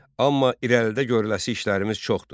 Amma irəlidə görəcək işlərimiz çoxdur.